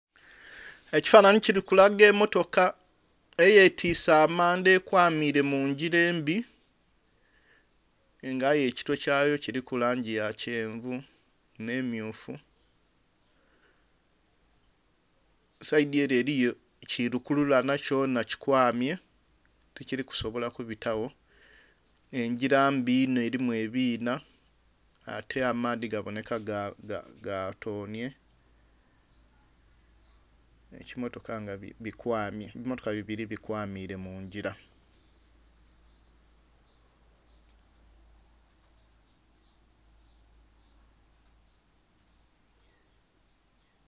Ekifanhanhi kili kulaga emmotoka eyetiise amanda, ekwamiile mu ngila embi, nga aye ekitwe kyayo kuliku langi ya kyenvu nh'emmyufu. Saidi ele eliyo ki lukululana kyona kikwamye tikili kusobola kubitagho. Engila mbi inho elimu ebiinha, ate amaadhi gabonheka ga ga gatoonhye. Ekimmotoka nga bikwamye, ebimmotoka bibili nga bikwamiile mu ngila.